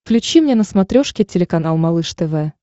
включи мне на смотрешке телеканал малыш тв